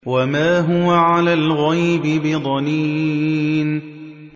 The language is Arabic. وَمَا هُوَ عَلَى الْغَيْبِ بِضَنِينٍ